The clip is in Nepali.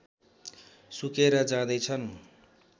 सुकेर जाँदै छन्